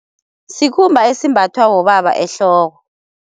Sikhumba esimbathwa bobaba ehloko.